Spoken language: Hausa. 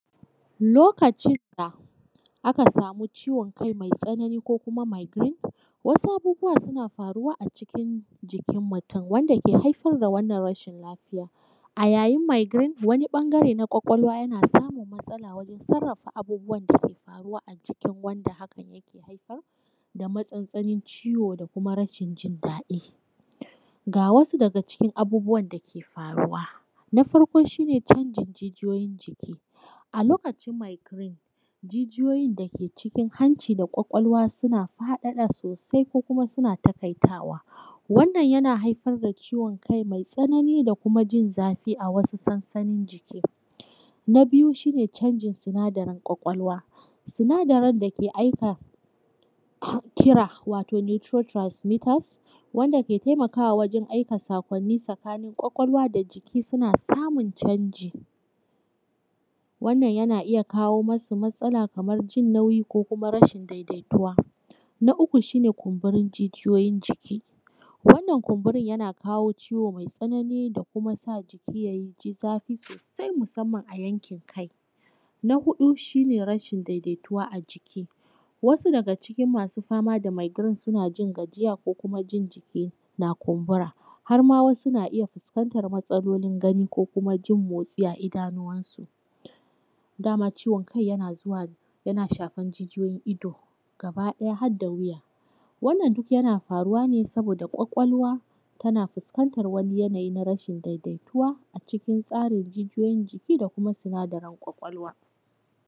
Lokacin da aka samu ciwon kai mai tsanani ko kuma migrine wasu abubuwa suna faruwa a cikin jikin mutum wanda ke haifar da wannan rashin lafiya. A yayin migrine wani ɓangare na ƙwaƙwalwa yana samun matsala wurin sarrafa abubuwan dake faruwa a jikin wanda hakan yake haifar da matsantsanin ciwo, da kuma rashin jindaɗi. Ga wasu daga cikin abubuwan dake faruwa. Na farko shi ne canjin jijiyoyin jiki. A lokacin migrine jijiyoyin da ke cikin hanci da ƙwaƙwalwa suna faɗaɗa sosai, ko kuma suna taƙaitawa. Wannan yana haifar da ciwon kai mai tsanani da kuma jin zafi a wasu sansanin jiki. Na biyu shi ne canjin sinadarin ƙwaƙwalwa. Sinadarin dake aika kofkira wato neutron transmiters wanda ke taimakawa wajan aika saƙonni tsakanin ƙwaƙwalwa da jiki, suna samun canji. Wannan yana iya kawo masu matsala kaman jin nauyi, ko kuma rashin daidaituwa. Na uku shi ne kumburin jijiyoyin jiki. Wannan kunburin yana kawo ciwo mai tsanani da kuma sa jiki yaji zafi sosai musamman a yankin kai. Na huɗu shi ne rashin daidaituwa a jiki. wasu daga ciki masu fama da migrine suna jin gajiya, ko kuma jin jiki na kumbura har ma wasu na iya fuskantan matsalolin gani ko kuma jin motsi a idanunwansu, daman ciwon kai yana zuwa yana shafan jijiyoyin ido gaba ɗaya har da wuya. Wannan duk yana faruwa ne saboda ƙwaƙwalwa tana fuskanta wani yanayi na rashin daidaituwa a cikin tsarin jijiyoyin jiki, da kuma sinadaran ƙwaƙwalwa.